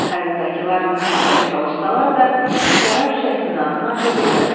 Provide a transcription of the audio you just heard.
Kayutdakılar nə qədər çalışsalar da, şərab şüşəsinin ağzını aça bilmədilər.